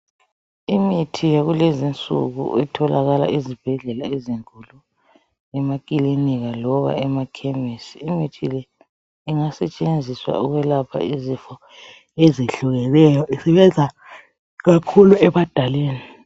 Imithi yakulezi insuku itholakala ezibhedlela ezinkulu emakilinika loba emakemesi imithi le ingasetshenziswa ukwelapha izifo ezehlukeneyo isebenza kakhulu ebadaleni.